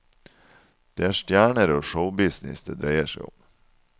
Det er stjerner og showbusiness det dreier seg om.